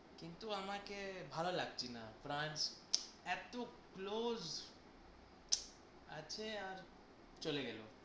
কিন্তু আমাকে ভালো লাগছিনা। ফ্রান্স এত close আছে আর চলে গেল।